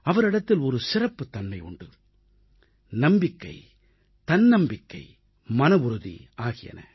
அவரிடத்தில் ஒரு சிறப்புத்தன்மை உண்டு நம்பிக்கை தன்னம்பிக்கை மனவுறுதி ஆகியன